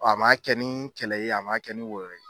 A ma kɛ ni kɛlɛ ye a ma kɛ ni wɔyɔ ye